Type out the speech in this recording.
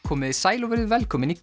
komiði sæl og verið velkomin í